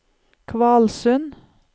Kvalsund